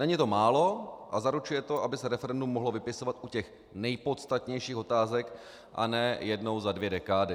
Není to málo a zaručuje to, aby se referendum mohlo vypisovat u těch nejpodstatnějších otázek, a ne jednou za dvě dekády.